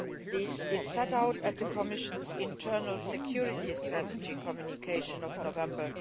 This is set out in the Commission's Internal Security Strategy Communication of November